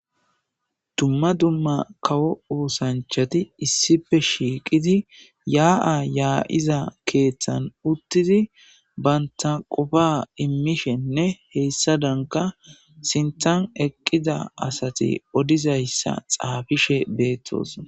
dumma dumma kawo oosanchati issife shiiqizi yaa7a yaa7iza keeththan uttidi baynta qofa immishenne heessa danka sintan eqqida asati odizayssa xaafishe beettos